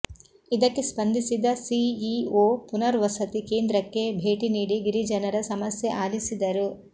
ಇದಕ್ಕೆ ಸ್ಪಂದಿಸಿದ ಸಿಇಒ ಪುನರ್ವಸತಿ ಕೇಂದ್ರಕ್ಕೆ ಭೇಟಿ ನೀಡಿ ಗಿರಿಜನರ ಸಮಸ್ಯೆ ಆಲಿಸಿದರು